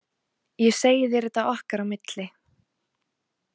Ég segi þér þetta okkar á milli